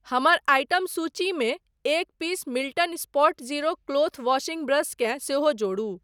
हमर आइटम सूचीमे एक piece Milton Spotzero cloth washing brush केँ सेहो जोडू।